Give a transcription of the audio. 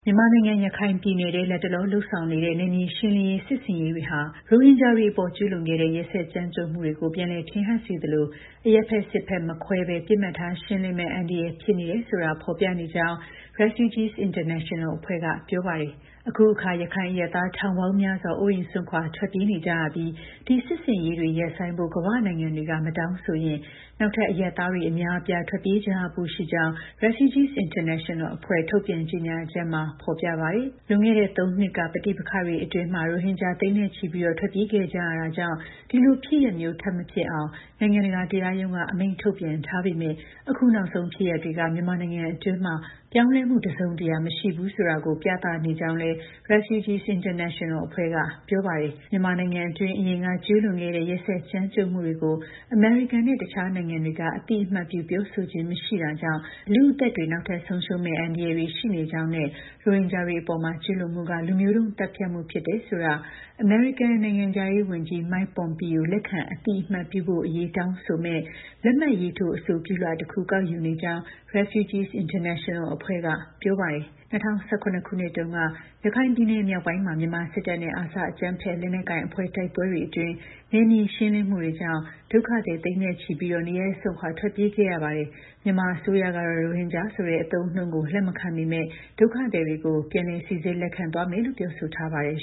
မြန်မာနိုင်ငံ၊ ရခိုင်ပြည်နယ်ထဲ လတ်တလော လုပ်ဆောင်နေတဲ့ နယ်မြေရှင်းလင်းရေး စစ်ဆင်ရေးတွေဟာ ရိုဟင်ဂျာတွေအပေါ် ကျူးလွန်ခဲ့တဲ့ ရက်စက် ကြမ်းကြုတ်မှုတွေကို ပြန်လည် ထင်ဟပ်စေသလို၊ အရပ်ဘက်၊ စစ်ဘက် မခွဲဘဲ ပစ်မှတ်ထားရှင်းလင်းမယ့် အန္တရာယ်ဖြစ်နေတယ်ဆိုတာ ဖော်ပြနေကြောင်း REFUGEES INTERNATONAL အဖွဲ့က ပြောပါတယ်။ အခုအခါ ရခိုင်အရပ်သား ထောင်ပေါင်းများစွာ အိုးအိမ်စွန့်ခွာ ထွက်ပြေးနေကြရပြီး ဒီ စစ်ဆင်ရေးတွေ ရပ်ဆိုင်းဖို့ ကမ္ဘာ့နိုင်ငံတွေက မတောင်းဆိုဘူးဆိုရင် နောက်ထပ် အရပ်သားတွေ အများအပြား ထွက်ပြေးကြရဖို့ ရှိကြောင်း REFUGEES INTERNATONAL အဖွဲ့ ထုတ်ပြန် ကြေညာချက်မှာ ပါရှိပါတယ်။ လွန်ခဲ့တဲ့ ၃ နှစ်က ပဋိပက္ခတွေအတွင်း ရိုဟင်ဂျာ သိန်းဂဏန်း ထွက်ပြေးခဲ့ကြရတာကြောင့် ဒီလို ဖြစ်ရပ်မျိုး ထပ် မဖြစ်ပွားအောင် နိုင်ငံတကာ တရားရုံးက အမိန့်ထုတ်ပြန်ထားပေမဲ့ အခု နောက်ဆုံး ဖြစ်ရပ် တွေက မြန်မာနိုင်ငံအတွင်း ပြောင်းလဲမှု တစ်စုံတစ်ရာ မရှိဘူးဆိုတာကို ပြသနေကြောင်းလည်း REFUGEE INTERNATIONAL က ပြောပါတယ်။ မြန်မာနိုင်ငံအတွင်း အရင်က ကျူးလွန်ခဲ့တဲ့ ရက်စက် ကြမ်းကြုတ်မှုတွေကို အမေရိကန်နဲ့ တခြားနိုင်ငံတွေက အသိအမှတ်ပြု ပြောဆိုခြင်း မရှိတာကြောင့် လူ့အသက်တွေ နောက်ထပ် ဆုံးရှုံးမယ့် အန္တရာယ်တွေ ရှိနေကြောင်းနဲ့ ရိုဟင်ဂျာတွေအပေါ် ကျူးလွန်မှုက လူမျိုးတုန်း သတ်ဖြတ်မှု ဖြစ်တယ်ဆိုတာကို အမေရိကန် နိုင်ငံခြားရေး ဝန်ကြီး Mike Pompeo လက်ခံအသိအမှတ်ပြုဖို့အရေး တောင်းဆိုမယ့် လက်မှတ်ရေးထိုး အဆိုပြုလွှာ တစ်ခု ကောက်ယူနေကြာင်း REFUGEE INTERNATIONAL အဖွဲ့က ပြောပါတယ်။ ၂၀၁၇ ခုနှစ်တုန်းက ရခိုင်ပြည်နယ်မြောက်ပိုင်းမှာ မြန်မာစစ်တပ်နဲ့ ARSA အကြမ်းဖက်လက်နက်ကိုင်အဖွဲ့ တိုက်ပွဲတွေအတွင်း နယ်မြေရှင်းလင်းမှုတွေကြောင့် ဒုက္ခသည် သိန်းနဲ့ ချီပြီးနေရပ်စွန့်ခွာ ထွက်ပြေးခဲ့ရပါတယ်။ မြန်မာအစိုးရကတော့ ရိုဟင်ဂျာဆိုတဲ့ အသုံးအနှုန်းကို လက်မခံပေမဲ့ ဒုက္ခသည်တွေကို ပြန်လည် စိစစ်လက်ခံသွားမယ်လို့ ပြောဆိုထားပါတယ်